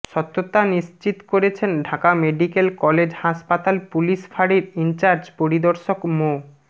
সত্যতা নিশ্চিত করেছেন ঢাকা মেডিকেল কলেজ হাসপাতাল পুলিশ ফাড়ির ইনচার্জ পরিদর্শক মো